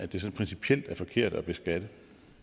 det principielt er forkert at beskatte